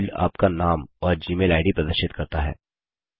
from field आपका नाम और जीमेल आईडी प्रदर्शित करता है